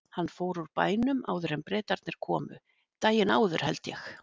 Hann fór úr bænum áður en Bretarnir komu, daginn áður held ég.